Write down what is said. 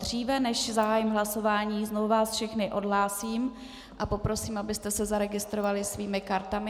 Dříve než zahájím hlasování, znovu vás všechny odhlásím a poprosím, abyste se zaregistrovali svými kartami.